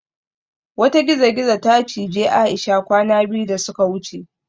Wata gizo-gizo ta cije Aisha kwana biyu da suka wuce